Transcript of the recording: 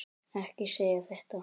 Ekki segja þetta!